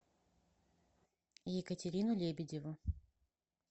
екатерину лебедеву